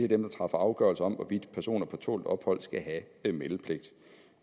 dem der træffer afgørelse om hvorvidt personer på tålt ophold skal have meldepligt